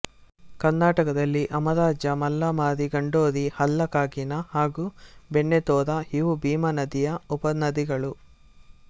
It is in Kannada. ಕರ್ನಾಟಕದಲ್ಲಿ ಅಮರಜಾ ಮುಲ್ಲಾಮಾರಿ ಗಂಡೋರಿ ಹಳ್ಳ ಕಾಗಿನಾ ಹಾಗು ಬೆಣ್ಣೆತೊರಾ ಇವು ಭೀಮಾನದಿಯ ಉಪನದಿಗಳು